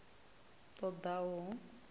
ṱ o ḓ a u